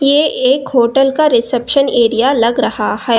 ये एक होटल का रिसेप्शन एरिया लग रहा है।